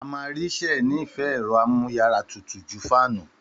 Àmàrisẹ nì fẹ ẹ̀ro àmùyàrà tútú jù fànú